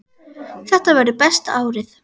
Þetta verður besta árið.